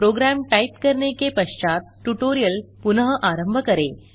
programme type करने के पश्चात ट्यूटोरियल पुनः आरंभ करें